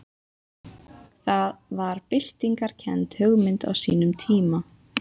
Það var byltingarkennd hugmynd á sínum tíma.